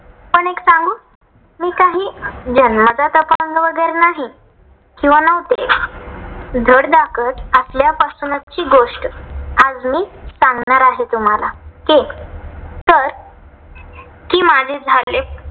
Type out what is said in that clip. जन्मताच अपंग वगैरे नाही किंवा नव्हते. धडधाकट असल्यापासूनची गोष्ट आज मी सांगणार आहे तुम्हाला. okay तर कि माझे झाले